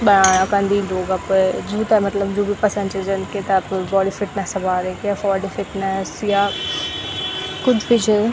बणाना क अन्दी लोग अपर जूँ ते मतलब जू भी पसंद च जन किताप बॉडी फिटनेस बारे क या फोरडी फिटनेस या कुछ भी ज।